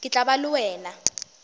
ke tla ba le wena